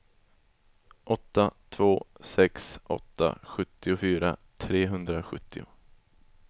åtta två sex åtta sjuttiofyra trehundrasjuttio